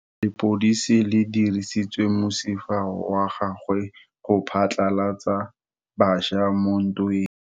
Lepodisa le dirisitse mosifa wa gagwe go phatlalatsa batšha mo ntweng.